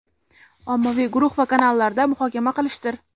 ommaviy guruh va kanallarda muhokama qilishdir.